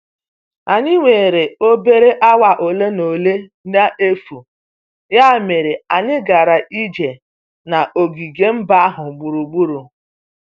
Anyị nwere obere awa ole na ole n'efu, ya mere anyị gara ije n'ogige mba ahụ gburugburu.